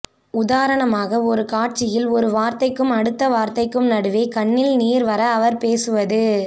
உதாரணமாக ஒரு காட்சியில் ஒரு வார்த்தைக்கும் அடுத்த வார்த்தைக்கும் நடுவே கண்ணில் நீர் வர அவர் பேசுவது